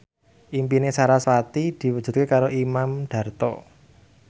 impine sarasvati diwujudke karo Imam Darto